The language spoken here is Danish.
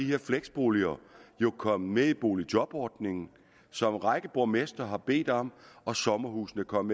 her fleksboliger jo kommet med i boligjobordningen som en række borgmestre har bedt om og sommerhusene kom